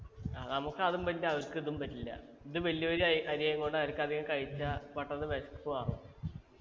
ആ നമുക്ക് അതും പറ്റില്ല അവർക്കിതും പറ്റില്ല ഇത് വലിയ വലിയ അ അരി ആയിക്കൊണ്ട് അവർക്കധികം കഴിച്ചാ പെട്ടെന്ന് വിശപ്പ് മാറും